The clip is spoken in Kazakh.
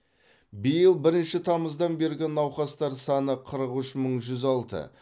биыл бірінші тамыздан бергі науқастар саны қырық үш мың жүз алты